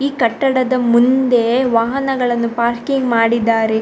‌ಈ ಕಟ್ಟಡದ ಮುಂದೆ ವಾಹನಗಳನ್ನು ಪಾರ್ಕಿಂಗ್‌ ಮಾಡಿದ್ದಾರೆ.